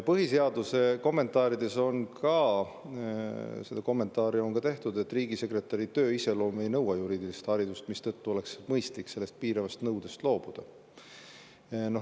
Põhiseaduse kommentaarides on ka kommenteeritud, et riigisekretäri töö iseloom ei nõua juriidilist haridust, mistõttu oleks mõistlik sellest piiravast nõudest loobuda.